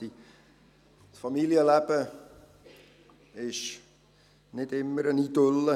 Das Familienleben ist nicht immer eine Idylle.